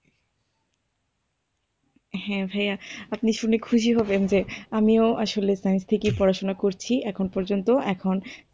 হ্যাঁ ভাইয়া আপনি শুনে খুশি হবেন যে আমিও আসলে ব্যাংক থেকেই পড়াশুনা করছি এখন পর্যন্ত এখন।